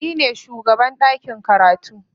Ni ne shugaban ɗakin karatu.